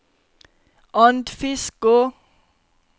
Andfiskå